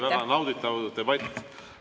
See oli väga nauditav debatt.